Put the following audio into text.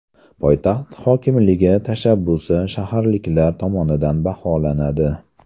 Poytaxt hokimligi tashabbusi shaharliklar tomonidan baholanadi.